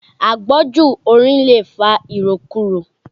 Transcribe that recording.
Àgbọ́jù orin lè fa ìròkurò.